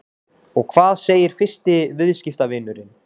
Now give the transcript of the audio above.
Og hvað segir fyrsti viðskiptavinurinn?